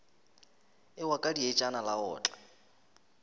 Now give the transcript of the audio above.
ewa ka dietšana la otla